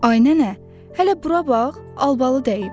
Ay nənə, hələ bura bax, albalı dəyib.